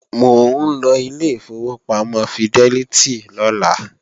Mò ń lọ ilé ìfowópamọ́ fidẹ́lítì lọ́la